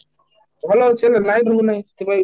ଭଲ ଅଛି ହେଲେ light ରହୁ ନାହିଁ ସେଠି ପାଇଁ